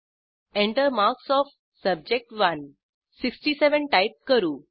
Enter marks O सब्जेक्ट1 67 type करू